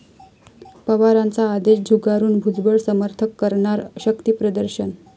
पवारांचा आदेश झुगारून भुजबळ समर्थक करणार शक्तिप्रदर्शन?